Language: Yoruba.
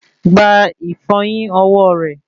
Gba ìfọyín ọwọ rẹ